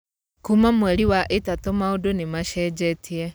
Kuma mweri wa ĩtatũ maũndũ nĩmacenjetie.